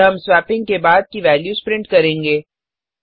और हम स्वेपिंग से बाद की वेल्यूस प्रिंट करेंगे